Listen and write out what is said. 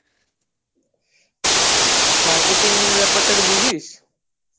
marketing ব্যাপারটা বুঝিস